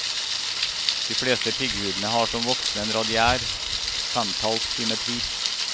De fleste pigghudene har som voksne en radiær femtalls symmetri.